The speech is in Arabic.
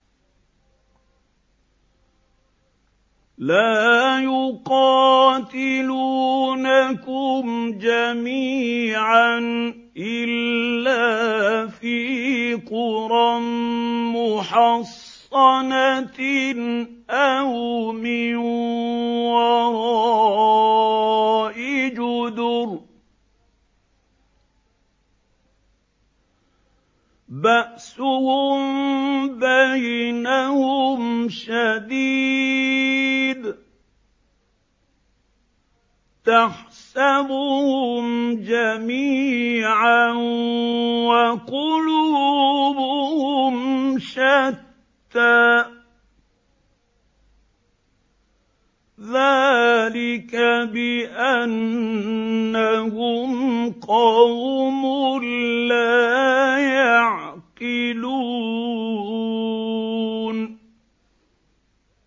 لَا يُقَاتِلُونَكُمْ جَمِيعًا إِلَّا فِي قُرًى مُّحَصَّنَةٍ أَوْ مِن وَرَاءِ جُدُرٍ ۚ بَأْسُهُم بَيْنَهُمْ شَدِيدٌ ۚ تَحْسَبُهُمْ جَمِيعًا وَقُلُوبُهُمْ شَتَّىٰ ۚ ذَٰلِكَ بِأَنَّهُمْ قَوْمٌ لَّا يَعْقِلُونَ